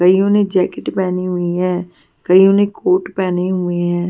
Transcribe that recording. कईयों ने जैकेट पहनी हुई है कईयों ने कोट पहने हुए हैं.